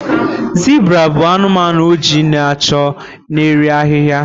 zebra bụ anumanu oji na ọcha n'eri ahịhịa